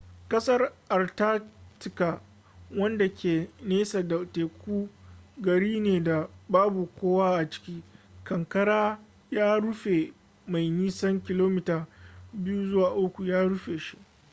kasar antarctica wanda ke nesa daga teku gari ne da babu kowa a ciki kankara ya rufe mai nisan km 2-3 ya rufe shi